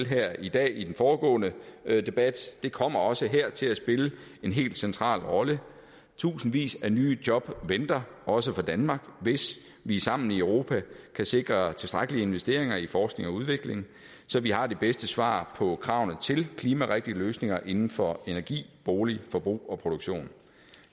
her i dag i den foregående debat det kommer også her til at spille en helt central rolle tusindvis af nye job venter også for danmark hvis vi sammen i europa kan sikre tilstrækkelige investeringer i forskning og udvikling så vi har de bedste svar på kravene til klimarigtige løsninger inden for energi bolig forbrug og produktion